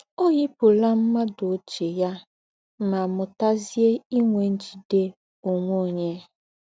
Ọ́ yípùlà m̀ádụ́ óchiè ya mà mú́tàzie ínwè ńjìdè ònwè ónyè.